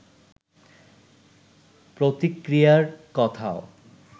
প্রতিক্রিয়ার কথাও